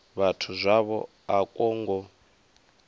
vhathu zwavho a kwo ngo